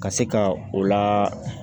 Ka se ka o la